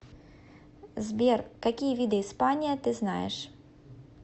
сбер какие виды испания ты знаешь